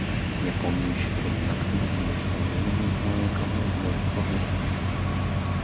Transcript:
я помню ещё времена когда мы заставили кое-кого здорово поплясать